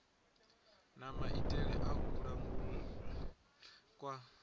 na maitele a kulangulele kwa